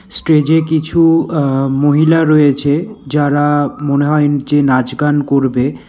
স্টেজে কিছু আ মহিলা রয়েছে যারা মনে হয় উম যে নাচ গান করবে।